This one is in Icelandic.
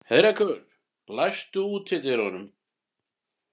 Heiðrekur, læstu útidyrunum.